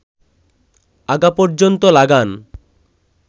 আগা পর্যন্ত লাগান